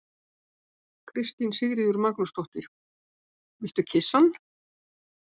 Kristín Sigríður Magnúsdóttir: Viltu kyssa hann?